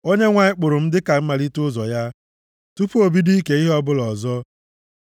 “ Onyenwe anyị kpụrụ m dịka mmalite ụzọ ya, tupu o bido ike ihe ọbụla ọzọ.